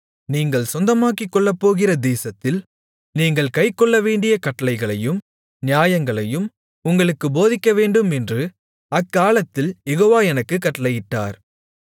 நீங்கள் சொந்தமாக்கிக்கொள்ளப்போகிற தேசத்தில் நீங்கள் கைக்கொள்ளவேண்டிய கட்டளைகளையும் நியாயங்களையும் உங்களுக்குப் போதிக்கவேண்டுமென்று அக்காலத்தில் யெகோவா எனக்குக் கட்டளையிட்டார்